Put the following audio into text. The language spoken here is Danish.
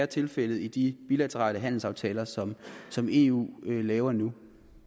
tilfældet i de bilaterale handelsaftaler som som eu laver nu